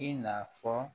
I n'a fɔ